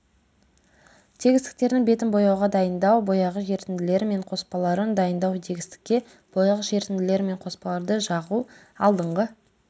тегістіктердің бетін бояуға дайындау бояғыш ерітінділері мен қоспаларын дайындау тегістікке бояғыш ерітінділері мен қоспаларды жағу алдыңғы